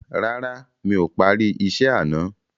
Rárá, mi ò parí isẹ́ àná.